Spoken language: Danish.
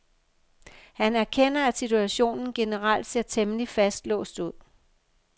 Han erkender, at situationen generelt ser temmelig fastlåst ud.